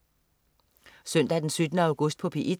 Søndag den 17. august - P1: